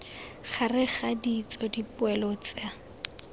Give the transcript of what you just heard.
gareg ga ditso dipoelo tsa